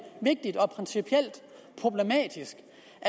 vigtigt og principielt problematisk